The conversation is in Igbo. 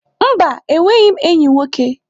Mba, enweghị m enyi nwoke.